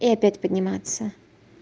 и опять подниматься